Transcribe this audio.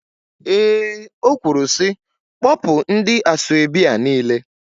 Eé, o kwuru sị, kpọpụ ndị asọebi a niile.